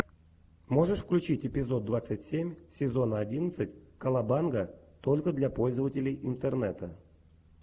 можешь включить эпизод двадцать семь сезона одиннадцать колобанга только для пользователей интернета